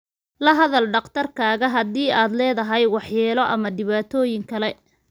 La hadal dhakhtarkaaga haddii aad leedahay waxyeelo ama dhibaatooyin kale.